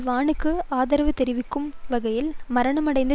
வானுக்கு ஆதரவு தெரிவிக்கும் வகையில் மரணமடைந்த